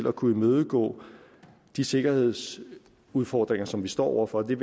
at kunne imødegå de sikkerhedsmæssige udfordringer som vi står over for det